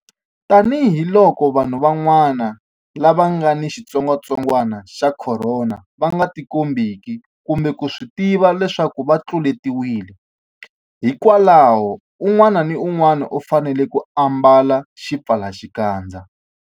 Tanihiloko vanhu van'wana lava nga ni xitsongwantsongwana xa Khorona va nga tikombeki kumbe ku swi tiva leswaku va tluletiwile, hikwalaho un'wana na un'wana u fanele ku ambala xipfalaxikandza.